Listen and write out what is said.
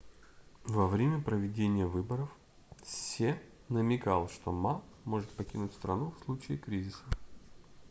во время проведения выборов се намекал что ма может покинуть страну в случае кризиса